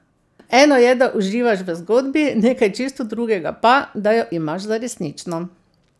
Eno je, da uživaš v zgodbi, nekaj čisto drugega pa, da jo imaš za resnično.